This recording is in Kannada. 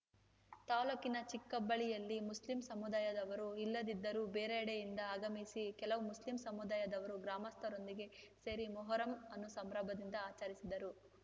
ತಾಲೂಕಿನ ಚಿಕ್ಕಕಬ್ಬಳ್ಳಿಯಲ್ಲಿ ಮುಸ್ಲಿಂ ಸಮುದಾಯದವರು ಇಲ್ಲದಿದ್ದರೂ ಬೇರೆಡೆಯಿಂದ ಆಗಮಿಸಿದ ಕೆಲವು ಮಸ್ಲಿಂ ಸಮುದಾಯದವರು ಗ್ರಾಮಸ್ಥರೊಂದಿಗೆ ಸೇರಿ ಮೋಹರಂ ಅನ್ನು ಸಂಭ್ರಮದಿಂದ ಆಚರಿಸಿದರು